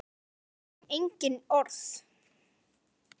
Við þurfum engin orð.